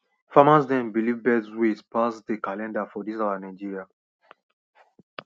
farmers dem believe birds ways pass the calendar for dis our nigeria